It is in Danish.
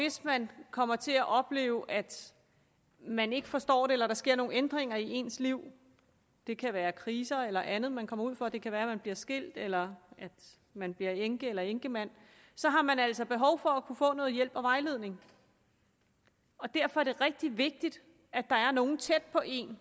hvis man kommer til at opleve at man ikke forstår det eller der sker nogle ændringer i ens liv det kan være kriser eller andet man kommer ud for det kan være at man bliver skilt eller at man bliver enke eller enkemand så har man altså behov for at kunne få noget hjælp og vejledning derfor er det rigtig vigtigt at der er nogle tæt på en